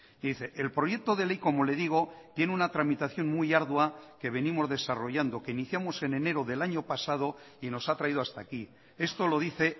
y dice el proyecto de ley como le digo tiene una tramitación muy ardua que venimos desarrollando que iniciamos en enero del año pasado y nos ha traído hasta aquí esto lo dice